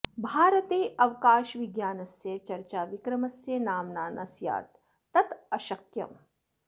भारते अवकाशविज्ञानस्य चर्चा विक्रमस्य नाम्ना न स्यात् तत् अशक्यम्